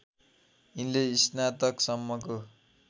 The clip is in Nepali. यिनले स्नातकसम्मको